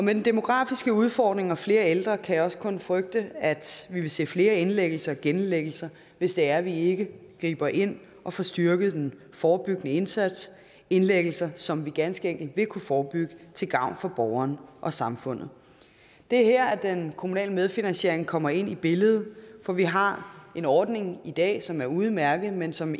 den demografiske udfordring og flere ældre kan jeg også kun frygte at vi vil se flere indlæggelser og genindlæggelser hvis det er vi ikke griber ind og får styrket den forebyggende indsats indlæggelser som vi ganske enkelt vil kunne forebygge til gavn for borgeren og samfundet det er her at den kommunale medfinansiering kommer ind i billedet for vi har en ordning i dag som er udmærket men som